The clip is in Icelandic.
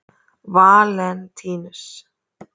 Valentínus